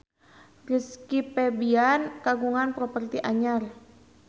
Rizky Febian kagungan properti anyar